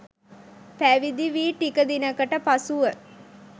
පැවිදි වී ටික දිනකට පසුව